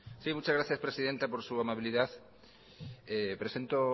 sí muchas gracias presidenta por su amabilidad presento